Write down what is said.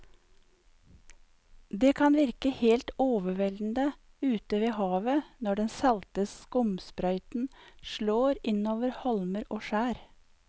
Det kan virke helt overveldende ute ved havet når den salte skumsprøyten slår innover holmer og skjær.